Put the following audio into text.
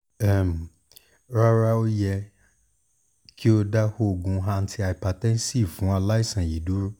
um rara o yẹ ki o ko da oogun antihypertensive fun alaisan yii duro